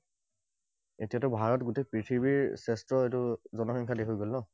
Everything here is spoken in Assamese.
এতিয়াতো ভাৰত গোটেই পৃথিৱীৰ শ্ৰেষ্ঠ এইটো জনসংখ্যাৰ দেশ হৈ গল ন?